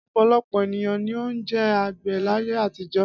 Ọ̀pọ̀lọpọ̀ ènìyàn ni ó jẹ́ àgbẹ̀ láyé àtijọ́.